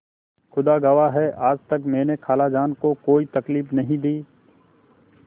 खुदा गवाह है आज तक मैंने खालाजान को कोई तकलीफ नहीं दी